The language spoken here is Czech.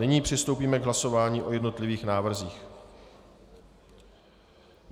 Nyní přistoupíme k hlasování o jednotlivých návrzích.